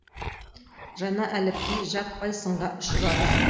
жаңа әліпби жаппай сынға ұшырады